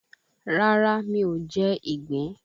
Rárá mi ọ̀ jẹ ìgbín